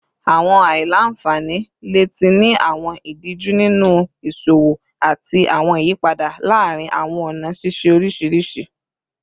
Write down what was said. Awọn aila-nfani le ti ni awọn idiju ninu iṣowo ati awọn iyipada laarin awọn ọna ṣiṣe oriṣiriṣi